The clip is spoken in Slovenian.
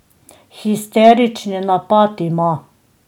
Histerični napad ima.